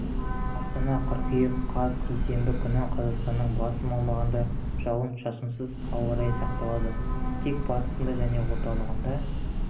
астана қыркүйек қаз сейсенбі күні қазақстанның басым аумағында жауын-шашынсыз ауа райы сақталады тек батысында және орталығында